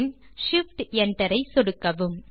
பின் shift enter ஐ சொடுக்குக